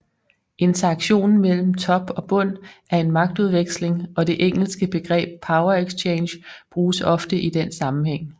Interaktionen mellem Top og Bund er en magtudveksling og det engelske begreb Power Exchange bruges ofte i den sammenhæng